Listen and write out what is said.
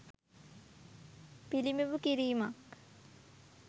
පිළිබිඹු කිරීමක්.